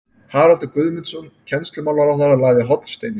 Haraldur Guðmundsson kennslumálaráðherra lagði hornsteininn